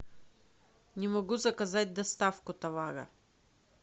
не могу заказать доставку товара